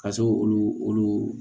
Ka se k'olu olu